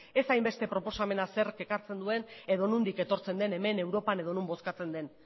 ez hainbeste proposamena zerk ekartzen duen edo nondik etortzen den hemen europan edo non bozkatzen den